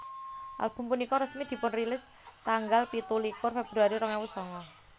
Album punika resmi dipunrilis tanggal pitu likur Februari rong ewu sanga